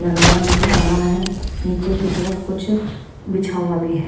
लगा हुआ नजर आ रहा है नीचे की तरफ कुछ बिछा हुआ भी है।